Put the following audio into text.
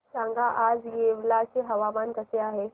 सांगा आज येवला चे हवामान कसे आहे